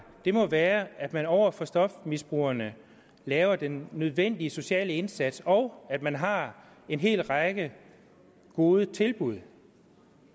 må være at man over for stofmisbrugerne laver den nødvendige sociale indsats og at man har en hel række gode tilbud